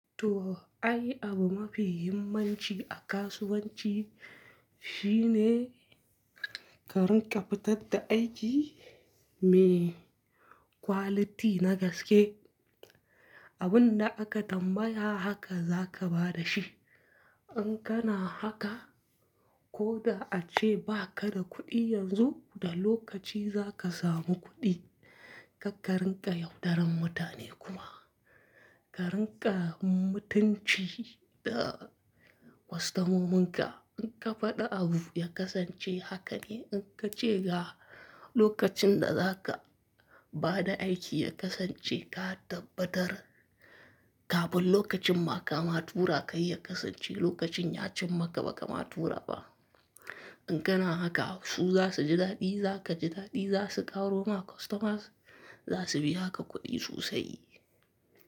To, ai abu mafi himmanci a kasuwanci shine ka rinƙa fitar da aiki mai quality na gaske. Abin da aka tambaya haka za ka ba da shi. In kana haka, ko da ace ba ka da kuɗi yanzu, da lokaci za ka samu kuɗi. Karka rinƙa yaudarar mutane kuma. Ka rinƙa mutunci da kostomominka. In ka faɗi abu ya kasance haka ne, in ka ce ga lokacin da za ka ba da aiki ya kasance ka tabbatar. Kafin lokacin ma kama tura kai ya kasance lokacin ya cim maka ba ka matura ba. In kana haka, su za su ji daɗi, za ka ji daɗi. Za su ƙaro ma kostomas, za su biya ka kuɗi sosai.